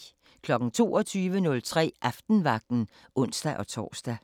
22:03: Aftenvagten (ons-tor)